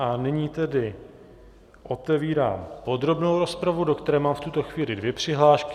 A nyní tedy otevírám podrobnou rozpravu, do které mám v tuto chvíli dvě přihlášky.